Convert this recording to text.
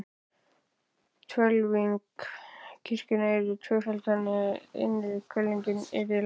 Hvelfing kirkjunnar yrði tvöföld, þannig, að innri hvelfingin yrði lægri.